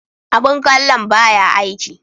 Abun kallon ba ya aiki.